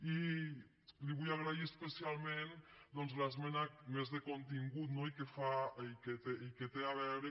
i li vull agrair especialment doncs l’esmena més de contingut i que té a veure